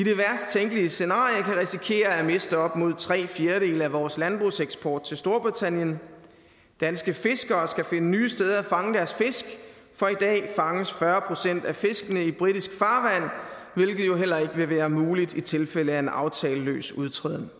tænkelige scenarie kan risikere at miste op mod tre fjerdedele af vores landbrugseksport til storbritannien danske fiskere skal finde nye steder at fange deres fisk for i dag fanges fyrre procent af fiskene i britisk farvand hvilket jo heller ikke vil være muligt i tilfælde af en aftaleløs udtræden